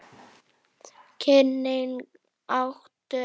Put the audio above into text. Kynnin áttu eftir að aukast.